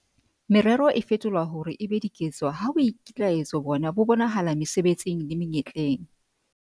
Merero e fetolwa hore e be diketso ha boikitlaetso bona bo bonahala mesebetsing le menyetleng.